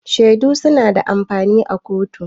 Shaidu su na da amfani a kotu